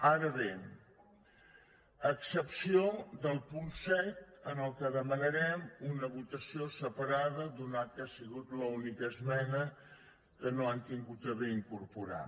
ara bé a excepció del punt set en el qual demanarem una votació separada atès que ha sigut l’única esmena que no han tingut a bé incorporar